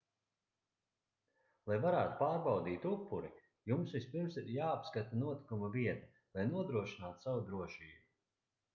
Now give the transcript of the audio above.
lai varētu pārbaudīt upuri jums vispirms ir jāapskata notikuma vieta lai nodrošinātu savu drošību